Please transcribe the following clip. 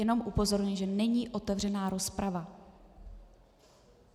Jenom upozorňuji, že není otevřená rozprava.